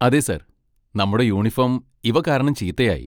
അതെ സർ, നമ്മുടെ യൂണിഫോം ഇവ കാരണം ചീത്തയായി.